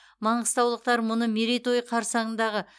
маңғыстаулықтар мұны мерейтойы қарсаңындағы